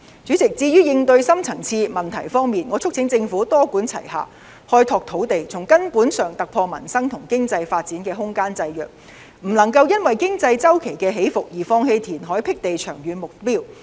主席，至於應對深層次問題方面，我促請政府多管齊下，開拓土地，從根本突破民生和經濟發展空間的制約，不能夠因為經濟周期起伏而放棄填海闢地的長遠目標。